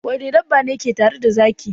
Wane dabba ne ke tare da zaki?